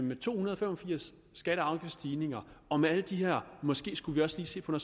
med to hundrede og fem og firs skatte og afgiftsstigninger og med alle de her udtalelser at måske skulle vi også lige se på